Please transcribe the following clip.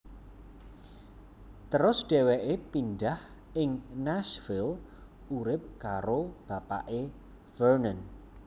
Terus dhéwéké pindhah ing Nashville urip karo bapake Vernon